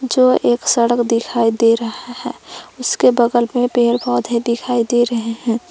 जो एक सड़क दिखाई दे रहा है उसके बगल में पेड़ पौधे दिखाई दे रहे हैं।